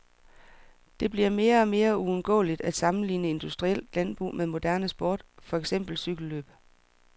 Det bliver mere og mere uundgåeligt at sammenligne industrielt landbrug med moderne sport, for eksempel cykellløb.